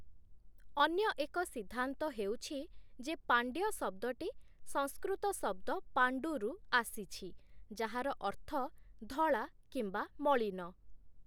ଅନ୍ୟ ଏକ ସିଦ୍ଧାନ୍ତ ହେଉଛି ଯେ, ପାଣ୍ଡ୍ୟ ଶବ୍ଦଟି ସଂସ୍କୃତ ଶବ୍ଦ ପାଣ୍ଡୁରୁ ଆସିଛି, ଯାହାର ଅର୍ଥ ଧଳା କିମ୍ବା ମଳିନ ।